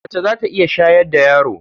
Mace za ta iya shayar da yaro.